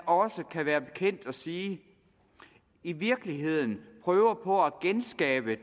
også kan være bekendt at sige at vi i virkeligheden prøver på at genskabe